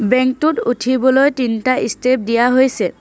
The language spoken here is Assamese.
বেঙ্ক টোত উঠিবলৈ তিনটা ষ্টেপ দিয়া হৈছে।